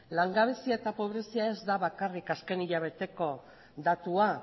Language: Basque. langabezia eta pobrezia ez da bakarrik azken hilabeteko datua